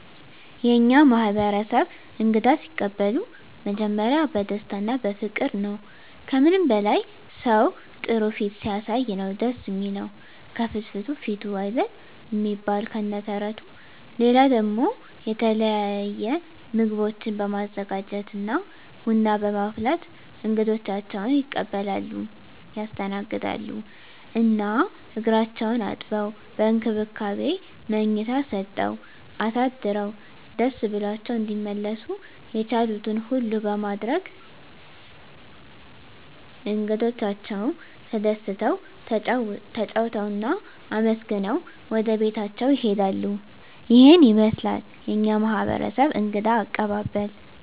የእኛ ማህበረሰብ እንግዳ ሲቀበሉ መጀመሪያ በደስታ እና በፍቅር ነዉ። ከምንም በላይ ሰዉ ጥሩ ፊት ሲያሳይ ነዉ ደስ እሚለዉ፤ ከፍትፍቱ ፊቱ አይደል እሚባል ከነ ተረቱ። ሌላ ደሞ የተለየ ምግቦችን በማዘጋጀት እና ቡና በማፍላት እንግዶቻቸዉን ይቀበላሉ (ያስተናግዳሉ) ። እና እግራቸዉን አጥበዉ፣ በእንክብካቤ መኝታ ሰጠዉ አሳድረዉ ደስ ብሏቸዉ እንዲመለሱ የቻሉትን ሁሉ በማድረግ እንግዶቻቸዉ ተደስተዉ፣ ተጫዉተዉ እና አመስግነዉ ወደቤታቸዉ ይሄዳሉ። ይሄን ይመስላል የኛ ማህበረሰብ እንግዳ አቀባበል።